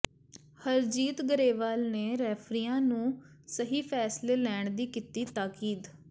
ਹਰਜੀਤ ਗਰੇਵਾਲ ਨੇ ਰੈਫਰੀਆਂ ਨੂੰ ਸਹੀ ਫੈਸਲੇ ਲੈਣ ਦੀ ਕੀਤੀ ਤਾਕੀਦ